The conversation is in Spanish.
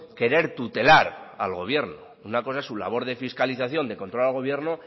querer tutelar al gobierno una cosa es su labor de fiscalización de control al gobierno